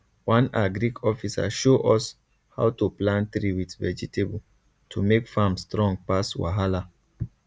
one agric officer show us how to plant tree with vegetable to make farm strong pass wahala